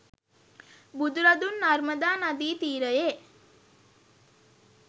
බුදුරදුන් නර්මදා නදී තීරයේ